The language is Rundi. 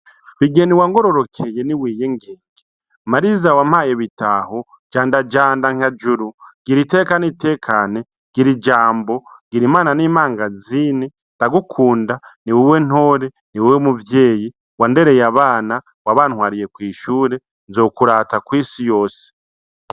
Bigeni wangororokeye niwiyengenge, mariza wampaye bitaho jandajanda nka juru gira iteka nitekane, gira ijambo, gira imana nimangazini ndagukunda niwewe ntore, niwewe muvyeyi wandereye abana wabantwariye kwishure nzokurata kwisi yose.